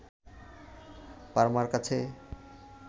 পারমার কাছে